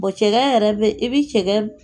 Bon cɛkɛ yɛrɛ bɛ i bɛ cɛkɛ